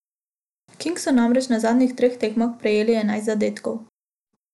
Kings so namreč na zadnjih treh tekmah prejeli enajst zadetkov.